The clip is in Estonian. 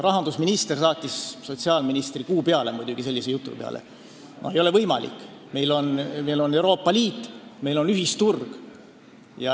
Rahandusminister saatis muidugi sellise jutu peale sotsiaalministri kuu peale – ei ole võimalik, meil on Euroopa Liit, meil on ühisturg.